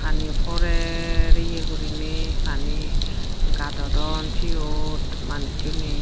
pani porer ye guriney pani gadodon siyot manussuney.